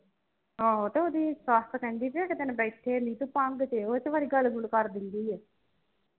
ਆਹੋ ਤੇ ਉਹਦੀ ਸੱਸ ਕਹਿੰਦੀ ਕਿ ਇਕ ਦਿਨ ਬੈਠੇ ਭੰਗ ਤੇ ਵਾਲੀ ਗੱਲ ਗੁਲ ਕਰ ਦਿੰਦੀ ਐ